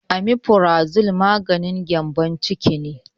Amifurazol maganin gyambon ciki ne